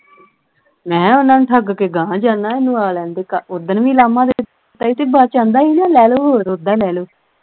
ਮੈਂ ਕਿਹਾ ਉਨ੍ਹਾਂ ਨੂੰ ਠੱਗ ਕੇ ਗਾਹ ਜਾਨਾ ਐ ਓਹਨੂੰ ਆ ਲੈਣ ਦੇ ਕਁਲ ਉਸ ਦਿਨ ਵੀ ਲਾਮਾ ਦਿੱਤਾ ਸੀ ਤੇ ਬਾਅਦ ਵਿਚ ਆਂਦਾ ਹੀ ਨਾ ਲੈ ਲਓ ਹੋਰ ਓਦਾਂ ਹੀ ਲੈ ਲਓ